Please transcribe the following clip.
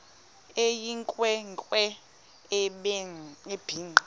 eyinkwe nkwe ebhinqe